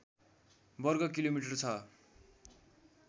वर्ग किलोमिटर छ